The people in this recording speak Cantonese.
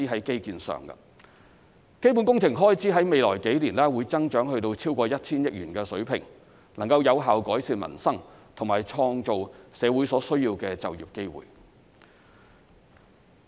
基本工程開支在未來數年會增長至超過 1,000 億元水平，能夠有效改善民生和創造社會所需的就業機會。